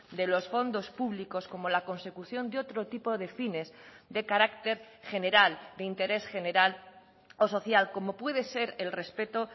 de los fondos públicos como la consecución de otro tipo de fines de carácter general de interés general o social como puede ser el respeto